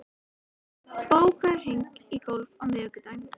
Fregn, bókaðu hring í golf á miðvikudaginn.